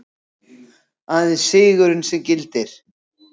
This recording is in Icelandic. Aðeins sigurinn sem gildir.